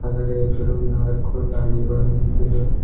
ಆದರ ಎದುರು ನಾಲಕ್ಕು ಗಾಡಿಗಳು ನಿಂತಿವೆ.